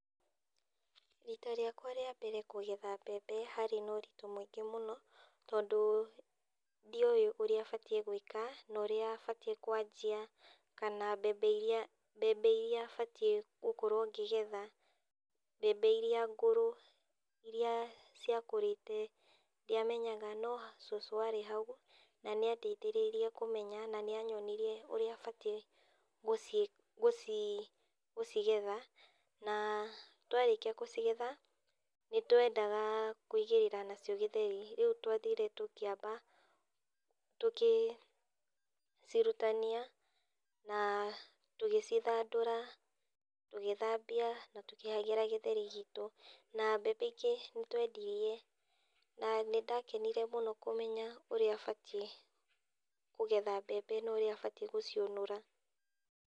Rita rĩakwa rĩa mbere kũgetha mbembe harĩ noritũ mũingĩ mũno tondũ ndioĩ ũrĩa batiĩ gũĩka norĩa batiĩ kwanjia kana mbembe iria mbembe iria batiĩ gũkorwo ngĩgetha. Mbembe iria ngũrũ, iria ciakũrĩte ndiamenyaga no cũcũ arĩ hau na nĩandethereirie kũmenya na nĩanyonirie ũrĩa batiĩ gũcigetha. Na twarĩkia gũcigetha, nĩtwendaga kũigĩrĩra nacio gĩtheri, rĩu twathire tũkĩamba tũkĩcirutania na tũgĩcithandũra, tũgĩthambia na tũkĩhagĩra gĩtheri gitũ. Na mbembe ingĩ nĩtwendirie na nĩndakenire mũno kũmenya ũrĩa batiĩ kũgetha mbembe norĩa batiĩ gũciũnũra.